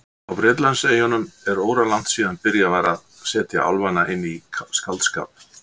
Á Bretlandseyjum er óralangt síðan byrjað var að setja álfana inn í skáldskap.